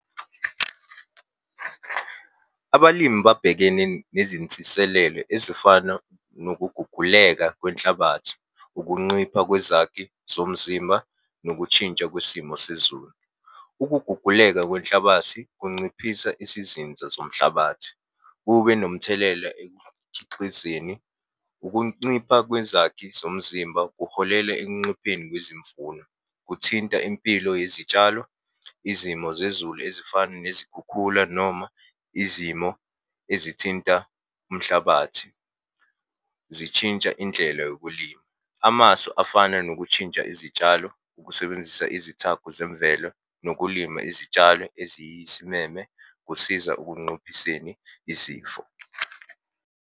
Abalimi babhekene nezinsiselelo ezifana nokuguguleka kwenhlabathi, ukunxipha kwezakhi zomzimba, nokutshintsha kwesimo sezulu. Ukuguguleka kwenhlabathi kunciphisa isizinza zomhlabathi, kube nomthelela ekukhixizeni. Ukuncipha kwezakhi zomzimba kuholela ekunxipheni kwezimvuno. Kuthinta impilo yezitshalo, izimo zezulu ezifana nezikhukhula noma izimo ezithinta umhlabathi zitshintsha indlela yokulima. Amasu afana nokutshintsha izitshalo, ukusebenzisa izithako zemvelo, nokulima izitshalo eziyisimeme kusiza ukunxuphiseni izifo.